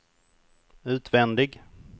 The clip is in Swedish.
utvändig